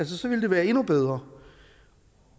så ville det være endnu bedre